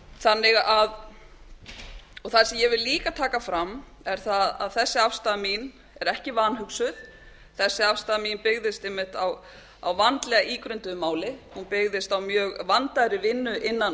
það sem ég vil líka taka fram er það að þessi afstaða mín er ekki vanhugsuð þessi afstaða mín byggðist einmitt á vandlega ígrunduðu máli hún byggðist á mjög vandaðri vinnu innan